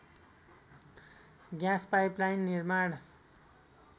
gas pipeline निर्माण